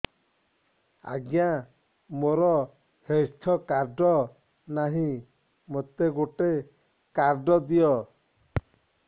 ଆଜ୍ଞା ମୋର health card ନାହିଁ ମୋତେ ଗୋଟେ କାର୍ଡ ଦିଅ